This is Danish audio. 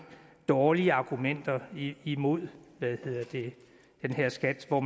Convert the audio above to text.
dårlige argumenter imod den her skat og